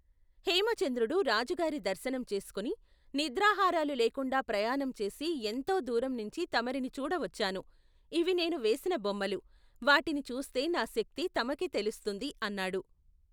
హేమచంద్రుడు రాజుగారి దర్శనం చేసుకుని, నిద్రాహారాలు లేకుండా ప్రయాణంచేసి ఎంతో దూరంనుంచి తమరిని చూడవచ్చాను, ఇవి నేను వేసిన బొమ్మలు, వాటిని చూస్తే నా శక్తి తమకే తెలుస్తుంది అన్నాడు.